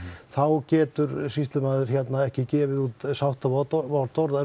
þá getur sýslumaður ekki gefið út